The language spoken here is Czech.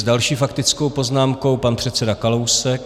S další faktickou poznámkou pan předseda Kalousek.